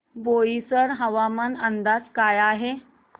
बोईसर हवामान अंदाज काय आहे